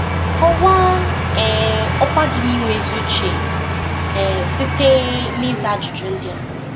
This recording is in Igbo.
Kọwaa um ọkwa gị nke inwe ezi uche um site um n'ịza ajụjụ ndị a.